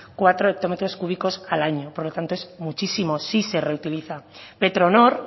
cuatro hectómetros cúbicos al año por lo tanto es muchísimo sí se reutiliza petronor